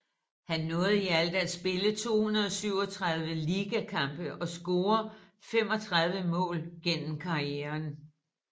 Han nåede i alt at spille 237 ligakampe og score 35 mål gennem karrieren